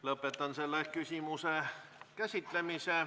Lõpetan selle küsimuse käsitlemise.